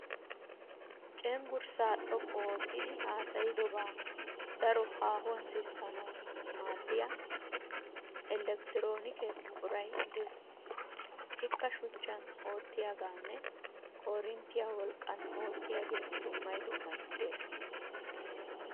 Cenggurssaa xoqqu oottidi haasayidobaa daro haahuwan sissanawu maaddiya elektiroonike buquray des. Ikka shuchchan oottiyaageenne koorinttiya wolqqan oottiyagee dummay dummay des.